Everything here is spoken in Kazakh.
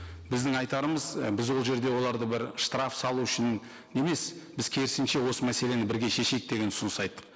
біздің айтарымыз і біз ол жерде оларды бір штраф салу үшін емес біз керісінше осы мәселені бірге шешейік деген ұсыныс айттық